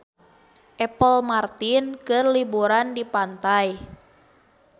Apple Martin keur liburan di pantai